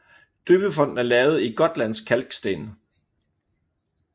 Døbefonten er lavet i gotlandsk kalksten